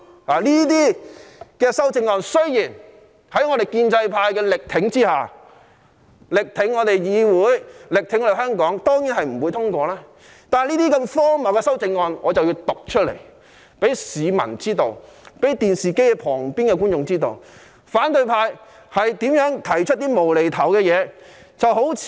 這些修正案在我們建制派力挺議會、力挺香港下，當然不會獲得通過，但我一定要讀出這些荒謬的修正案，讓市民、電視機旁的觀眾知道，反對派提出了多麼"無厘頭"的修正案。